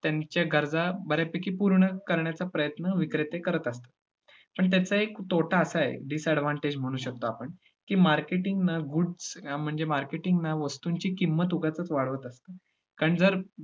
त्यांच्या गरजा बऱ्यापैकी पूर्ण करण्याचा प्रयत्न विक्रेते करत असतात. पण त्यांचा एक तोटा असा आहे disadvantage म्हणु शकतो आपण की marketing ना goods ना म्हणजे वस्तुंची किंमत उगाचचं वाढवत असतो कारण जर